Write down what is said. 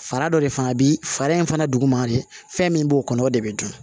Fara dɔ de fana bi fara in fana duguma de fɛn min b'o kɔnɔ o de bɛ dun